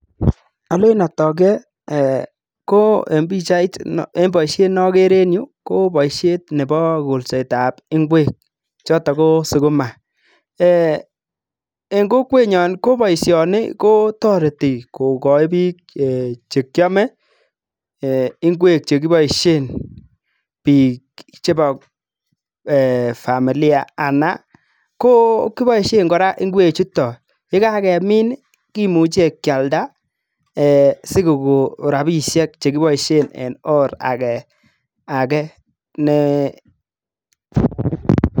alen atak ee ko en pichaitni en boisiet neagere ing'yu ko boisiet nebo koolseet ap ngwek, chotok ko sukuma. eng' kokwetnyon ko boisioni ko toreti kogoch biik chekiame, ngwek chekiboisie biik chebo familia anan koboisie kora ngwekchutok , yekakemin kimuche kialda sikokon rabisiek chekiboisie eng or age ne